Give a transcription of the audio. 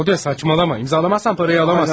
Rodi, cəfəngiyat danışma, imzalamasan pulu ala bilməzsən.